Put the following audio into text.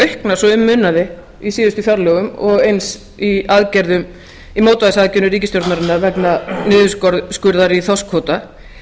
auknar svo um munaði í síðustu fjárlögum og eins í mótvægisaðgerðum ríkisstjórnarinnar vegna niðurskurðar í þorskkvóta